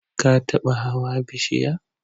Ka taba hawa bishiya?